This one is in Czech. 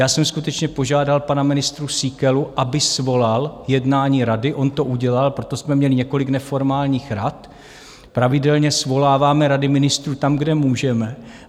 Já jsem skutečně požádal pana ministra Síkelu, aby svolal jednání Rady, on to udělal, proto jsme měli několik neformálních rad, pravidelně svoláváme rady ministrů tam, kde můžeme.